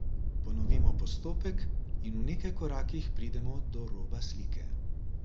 Ponovimo postopek in v nekaj korakih pridemo do roba slike.